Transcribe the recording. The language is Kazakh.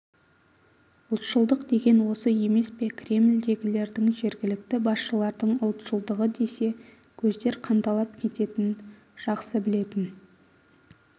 ұлтшылдық деген осы емес пе кремльдегілердің жергілікті басшылардың ұлтшылдығы десе көздер қанталап кететнн жақсы білетін